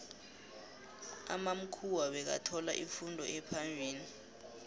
amamkhuwa bekathola ifundo ephambili